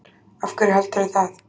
Af hverju heldurðu það?